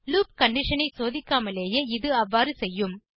loop condition ஐ சோதிக்காமலேயே இது அவ்வாறு செய்யும்